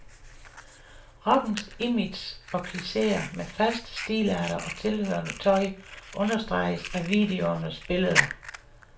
Rockens image og klicheer med faste stilarter og tilhørende tøj understreges af videoernes billeder.